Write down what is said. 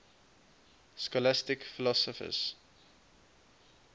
scholastic philosophers